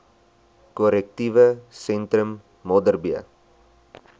korrektiewe sentrum modderbee